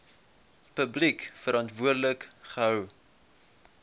publiek verantwoordelik gehou